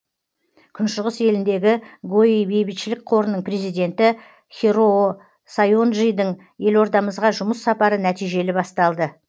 күншығыс еліндегі гои бейбітшілік қорының президенті хироо сайонджидің елордамызға жұмыс сапары нәтижелі басталды